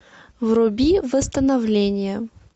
вруби восстановление